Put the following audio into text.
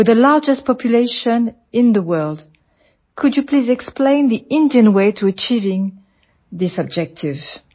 with the largest population in the world could you please explain Indian way to achieving this objective